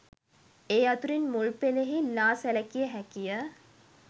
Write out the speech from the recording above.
ඒ අතුරින් මුල් පෙළෙහි ලා සැලකිය හැකිය.